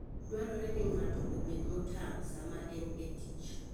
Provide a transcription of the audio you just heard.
Dwarore ni ng'ato obed motang' sama en e tich.